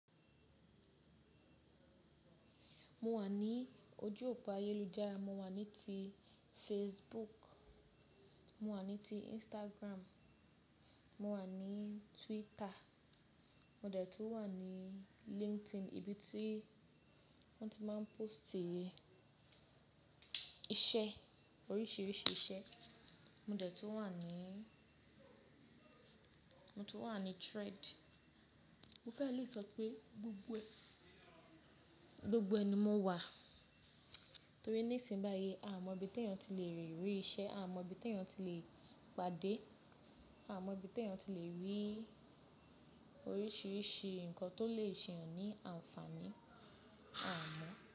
Mo wà ní ojú òpó ayélujára, mo wà ní ti Facebook, mo wà ní ti Instagram, mo wà ní Twitter, mo dẹ̀ tún wà ní LinkedIn ibi tí wọ́n ti máa ń póòstì iṣẹ́ oríṣiríṣi iṣẹ́, mo dẹ̀ tún wà ní mo tún wà ní Thread. Mo fẹ́ lè sọ pé gbogbo ẹ ni mo wà torí ní ìsìn báyìí a mọ ibi t'eyàn ti lè rí iṣẹ́, a mọ ibi t'eyàn ti lè pàdé, a mọ ibi t'eyàn ti lè rí oríṣiríṣi nǹkan tó lè ṣe'yàn ní àǹfàní, a mọ.